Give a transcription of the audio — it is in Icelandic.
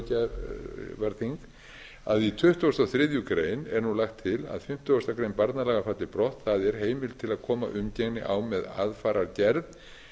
níunda löggjafarþing að í tuttugasta og þriðju grein er nú lagt til að fimmtíu grein barnalaga falli brott e heimild til að koma umgengni á með aðfarargerð